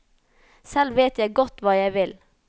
Selv vet jeg godt hva jeg vil.